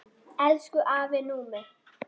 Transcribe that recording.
Elsku afi Númi.